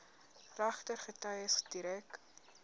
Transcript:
regter getuies direk